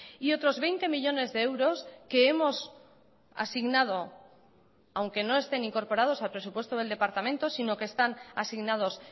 y otros veinte millónes de euros que hemos asignado aunque no estén incorporados al presupuesto del departamento sino que están asignados